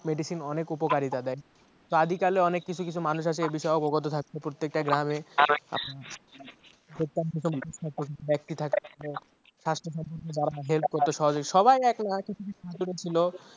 medicine অনেক উপকারী তাদের। আদিকালে অনেক কিছু কিছু মানুষ আছে এবিষয়ে অবগত থাকত প্রত্যেকেটা গ্রামে স্বাস্থ্য সচেতনতা বিষয়ে help করতো সহযোগিতা